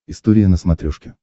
история на смотрешке